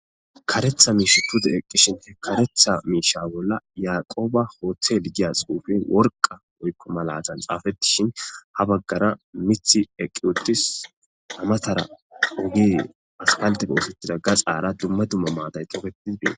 karetha miishutude eqqishine karetha miisha bolla yaqooba hooththel giyasuufen worqa woykko malatan xaafettishin ha baggara mithi eqqi uttis amatara ugi aspalte boosettida ga xaara dumma dumma maaday tofetidibeen